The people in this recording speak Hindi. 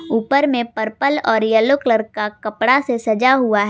ऊपर में पर्पल और येलो कलर का कपड़ा से सजा हुआ है।